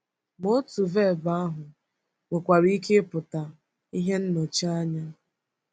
Ma otu vebụ ahụ nwekwara ike ịpụta ihe nnọchianya.